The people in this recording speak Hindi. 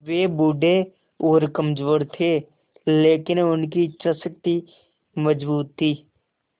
वे बूढ़े और कमज़ोर थे लेकिन उनकी इच्छा शक्ति मज़बूत थी